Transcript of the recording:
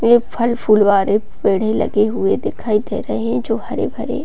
ये फल-फूल वाले पेड़े लगे हुए दिखाई दे रहे है जो हरे-भरे --